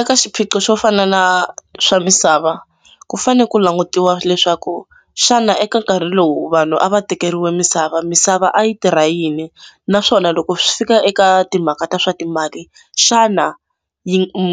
Eka xiphiqo xo fana na swa misava ku fanele ku langutiwa leswaku xana eka nkarhi lowu vanhu a va tekeriwe misava misava a yi tirha yini naswona loko swi fika eka timhaka ta swa timali xana